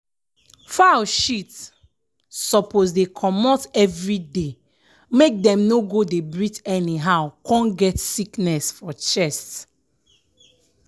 fowl shit suppose dey comot everyday make dem no go dey breath anyhow come get sickness for chest.